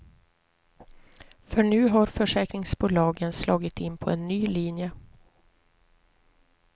För nu har försäkringsbolagen slagit in på en ny linje.